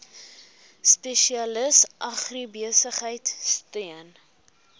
spesialis agribesigheid steun